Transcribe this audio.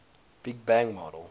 big bang model